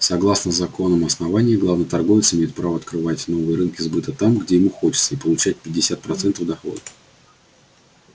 согласно законам основания главный торговец имеет право открывать новые рынки сбыта там где ему хочется и получать пятьдесят процентов дохода